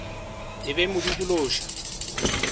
e be e mo dikološa